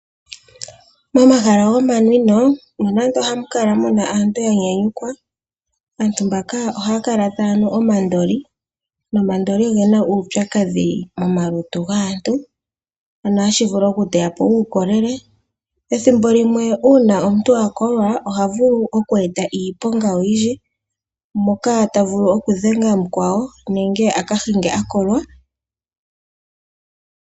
Momahala gomanwino nondo ohamu kala mu na aantu ya nyanyukwa, aantu mbaka ohaya kala taya nu omandoli. Omandoli oge na uupyakadhi momalutu gaantu, shono hashi vulu okuteya po uukolele. Pethimbo limwe uuna omuntu a kolwa oha vulu okueta iiponga oyindji, moka ta vulu okudhenga mukwawo nenge a ka hinge a kolwa.